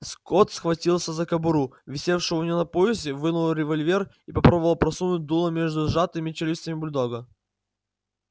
скотт схватился за кобуру висевшую у него на поясе вынул револьвер и попробовал просунуть дуло между сжатыми челюстями бульдога